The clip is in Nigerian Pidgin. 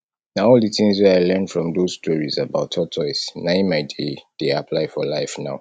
na all the things wey i learn from doz stories about tortoise na im i dey dey apply for life now